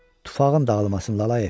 Tufağın dağılması.